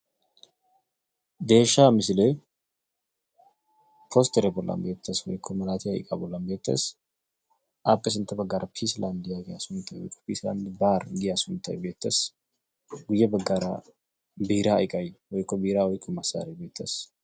Deshsha missle postere bolla beettes woyko mallattiya iqqa bolla beettes appe sintta baggara 'pisi land' sunttay woykko pisiland bar giyaa sunttay beettes guye baggara biira iqqay woykko biira oyqqiyo massare beettes.